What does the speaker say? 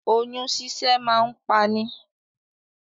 Òyun ṣíṣẹ́ máa ń pa ni.